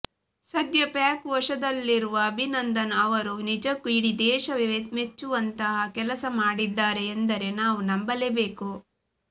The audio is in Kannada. ಸದ್ಯ ಪಾಕ್ ವಶದಲ್ಲಿರುವ ಅಭಿನಂದನ್ ಅವರು ನಿಜಕ್ಕೂ ಇಡೀ ದೇಶವೇ ಮೆಚ್ಚುವಂತಹ ಕೆಲಸ ಮಾಡಿದ್ದಾರೆ ಎಂದರೆ ನಾವು ನಂಬಲೇಬೇಕು